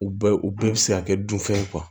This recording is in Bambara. U bɛɛ u bɛɛ bɛ se ka kɛ dunfɛnw